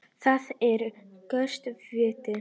Það er góðs viti.